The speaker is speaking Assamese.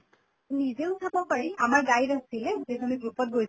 নিজেও চাব পাৰি, আমাৰ guide আছিলে যিহেতু আমি group ত গৈ